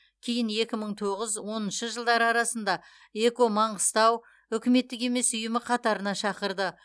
кейін екі мың тоғыз оныншы жылдары арасында эко маңғыстау үкіметтік емес ұйымы қатарына шақырды